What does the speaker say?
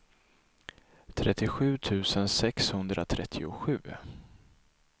trettiosju tusen sexhundratrettiosju